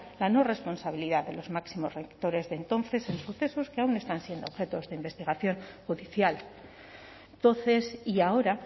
la no responsabilidad de los máximos rectores de entonces en sucesos que aún están siendo objeto de investigación judicial entonces y ahora